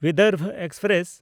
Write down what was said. Vidarbha express